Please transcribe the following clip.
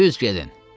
Düz gedin.